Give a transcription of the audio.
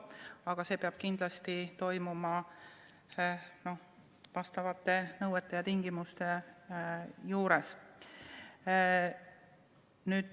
Aga see peab kindlasti toimuma vastavate nõuete ja tingimuste järgi.